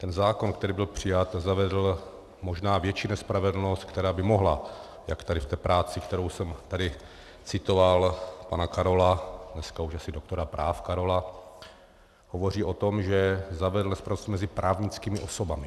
Ten zákon, který byl přijat, zavedl možná větší nespravedlnost, která by mohla, jak tady v té práci, kterou jsem tady citoval, pana Karolu, dneska už asi doktora práv Karolu, hovoří o tom, že zavedl nespravedlnost mezi právnickými osobami.